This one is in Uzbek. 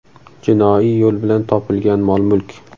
Jinoiy yo‘l bilan topilgan mol-mulk?